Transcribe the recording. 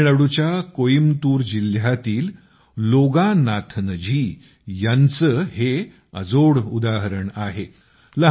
तामिळनाडूच्या कोईमतूर जिल्ह्यातील लोगानाथजी हे यांचं उदाहरण अजोड आहे